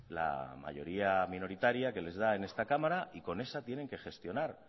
la mayoría minoritaria que les da en esta cámara y con esa tienen que gestionar